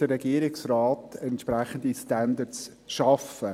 Der Regierungsrat muss hier entsprechende Standards schaffen.